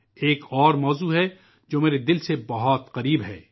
ایک موضوع اور ہے جو میرے دل کے بہت قریب ہے